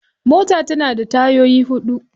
Mota tana da tayoyi huɗu.